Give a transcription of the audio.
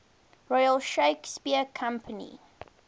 royal shakespeare company